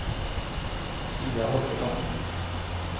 Pia Holgersson